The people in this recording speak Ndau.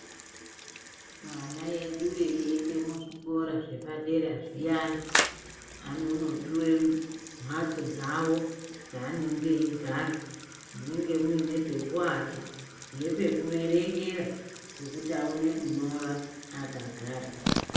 Ana edu eiende kuzvikora zvepadera zviyani aanopuwa mhatso dzawo dzaanenge eigara munenge muine pekuwata nepekuverengera pekuti awone kunyora akagara.